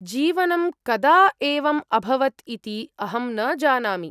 जीवनं कदा एवम् अभवत् इति अहं न जानामि।